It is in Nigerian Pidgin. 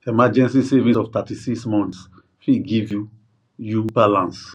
emergency savings of thirty six months fit give you you balance